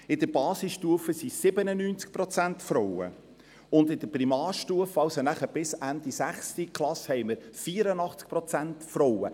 In der Basisstufe sind es 97 Prozent Frauen, und in der Primarstufe, also bis Ende 6. Klasse, haben wir 84 Prozent Frauen.